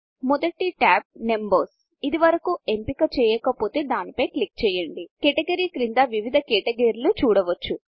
మొదటి టాబ్ Numbersనంబర్స్ ఇదివరకు ఎంపిక చేయకపోతే దాని పై క్లిక్ చేయండి కేటగరీ క్యాటగిరి క్రింద వివిధ క్యాటగరీలు చూడవచ్చు